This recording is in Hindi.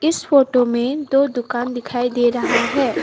उस फोटो में दो दुकान दिखाई दे रहा है।